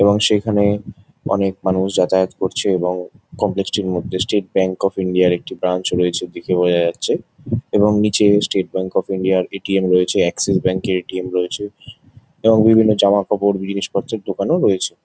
এবং সেইখানে অনেক মানুষ যাতায়াত করছে এবং কমপ্লেক্স -টির মধ্যে স্টেট ব্যাঙ্ক অফ ইন্ডিয়া -র একটি ব্রাঞ্চ রয়েছে দেখে বোঝা যাচ্ছে। এবং নীচে স্টেট ব্যাঙ্ক অফ ইন্ডিয়া -র এ.টি.এম. রয়েছে অ্যাক্সিস ব্যাঙ্ক -এর এ.টি.এম. রয়েছে। এবং বিভিন্ন জামাকাপড় জিনিসপত্রের দোকানও রয়েছে।